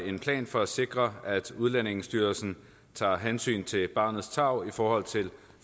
en plan for at sikre at udlændingestyrelsen tager hensyn til barnets tarv i forhold til